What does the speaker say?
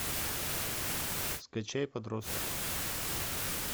скачай подросток